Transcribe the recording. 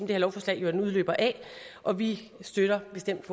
lovforslag jo er en udløber af og vi støtter bestemt